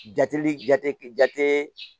Jateli jate jate